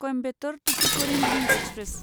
Coimbatore Tuticorin link express